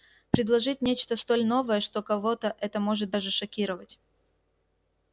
предложить нечто столь новое что кого-то это может даже шокировать